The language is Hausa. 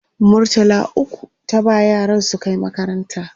murtala ukwu ta ba yaran su Kai makaranta